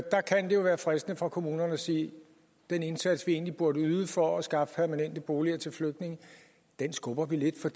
være fristende for kommunerne at sige at den indsats vi egentlig burde yde for at skaffe permanente boliger til flygtninge skubber vi lidt for